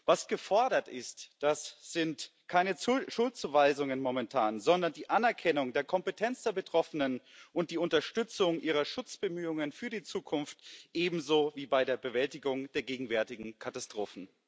Was momentan gefordert ist, das sind keine Schuldzuweisungen, sondern die Anerkennung der Kompetenz der Betroffenen und die Unterstützung ihrer Schutzbemühungen für die Zukunft sowie die Unterstützung bei der Bewältigung der gegenwärtigen Katastrophen.